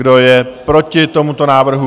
Kdo je proti tomuto návrhu?